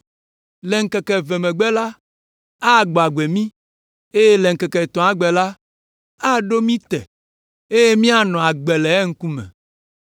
Le ŋkeke eve megbe la, agbɔ agbe mí, le ŋkeke etɔ̃a gbe la, aɖo mí te, eye míanɔ agbe le eŋkume!